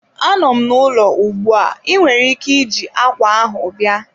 Anọ m n'ụlọ ugbu a, ị nwere ike iji ákwà ahụ bịa.